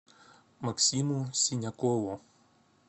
максиму синякову